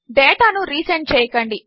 డేటానురీసెండ్చేయకండి